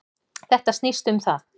Þetta snýst um það.